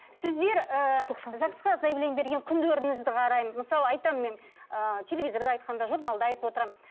сіздер ыыы загс қа заявление берген күндеріңізді қараймын мысалы айтамын мен ыыы телевизорда айтқанда журналда айтып отырамын